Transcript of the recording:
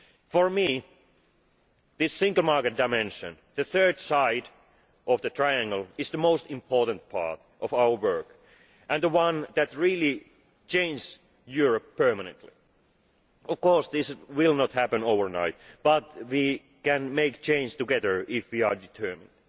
For me, this single market dimension the third side of the triangle is the most important part of our work and the one that really changes Europe permanently. Of course, this will not happen overnight, but we can make change together if we are determined.